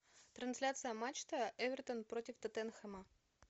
трансляция матча эвертон против тоттенхэма